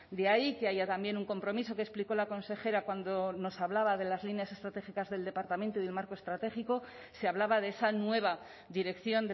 de ahí que haya también un compromiso que explicó la consejera cuando nos hablaba de las líneas estratégicas del departamento y del marco estratégico se hablaba de esa nueva dirección